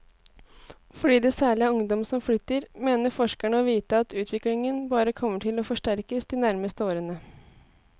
Fordi det særlig er ungdom som flytter, mener forskerne å vite at utviklingen bare kommer til å forsterkes de nærmeste årene.